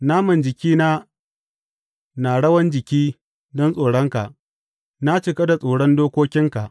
Naman jikina na rawan jiki don tsoronka; na cika da tsoron dokokinka.